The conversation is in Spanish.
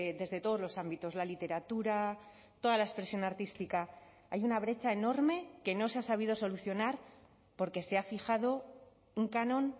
desde todos los ámbitos la literatura toda la expresión artística hay una brecha enorme que no se ha sabido solucionar porque se ha fijado un canon